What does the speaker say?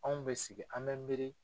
Anw bɛ sigi an bɛ miiri.